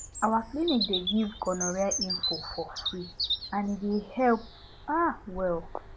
our clinic dey give gonorrhea info for free and e dey help um well